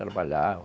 Trabalhava.